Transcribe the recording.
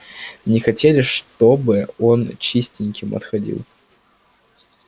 не хотели чтобы он чистеньким отходил